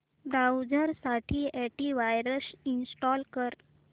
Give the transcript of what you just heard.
browser साठी antivirus install कर